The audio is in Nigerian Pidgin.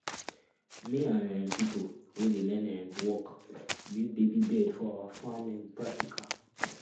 me and um pipo wey dey learn um work build baby bed for awa farm um practical